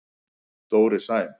Dóri Sæm.